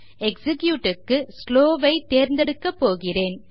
execute க்கு slow ஐ தேர்ந்தெடுக்கப்போகிறேன்